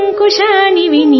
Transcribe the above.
అంకుశానివి